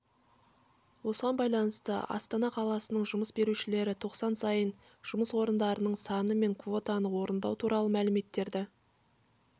осыған байланысты астана қаласының жұмыс берушілері тоқсан сайын жұмыс орындарының саны мен квотаны орындау туралы мәліметтерді